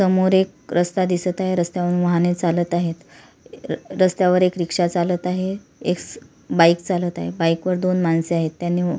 समोर एक रस्ता दिसत आहे रस्त्यावरुन वाहने चालत आहे रस्त्यावर एक रिक्षा चालत आहे एक बाइक चालत आहे बाइकवर दोन माणसे आहेत त्यांनी --